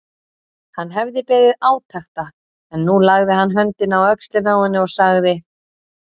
Hann hafði beðið átekta en nú lagði hann höndina á öxlina á henni og sagði